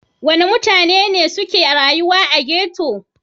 Wane mutane ne suke rayuwa a ghetto?